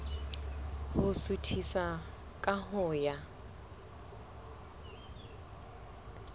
ho suthisa ka ho ya